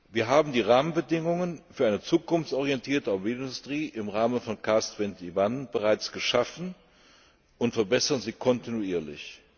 Wir haben die Rahmenbedingungen für eine zukunftsorientierte Automobilindustrie im Rahmen von CARS 21 bereits geschaffen und verbessern sie kontinuierlich.